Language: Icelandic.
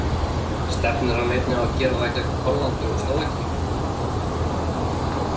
Stefnir hann einnig á að gera það gegn Hollandi og Slóvakíu?